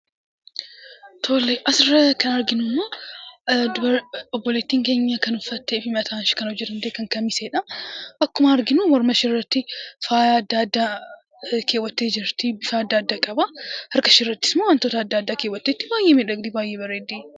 Asirraa kan arginu immoo, obboleettiin keenya kan uffattee fi mataashee kan hojjatatte kan kamiseedha. Akkuma arginu morma isheerratti faayaa adda addaa keewwattee jirti, bifa adda addaa qaba. Harka isheerrattis immoo wantoota adda addaa keewwatteetti baay'ee bareeddi, baay'ee miidhagdi.